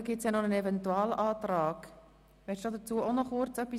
Zudem liegt von Ihnen ein Eventualantrag zu den Absätzen 1 und 2 vor.